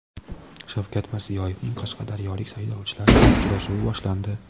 Shavkat Mirziyoyevning qashqadaryolik saylovchilar bilan uchrashuvi boshlandi.